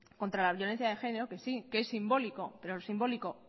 contra la violencia de género que sí que es simbólico pero lo simbólico